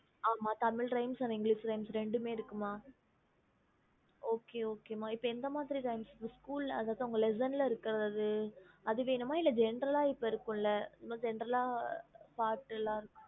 Tamil Rhymes English Rhymes ரென்னுமே இருக்கு ம ரெண்டுமே வேணுமா lesion இருக்குறது வேணுமா இல்ல General இருக்குறது வேணுமா